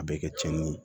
A bɛ kɛ tiɲɛni ye